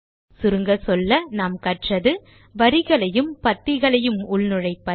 சுருங்கச்சொல்ல நாம் கற்றது வரிகளையும் பத்திகளையும் உள்நுழைப்பது